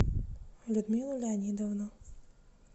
людмилу леонидовну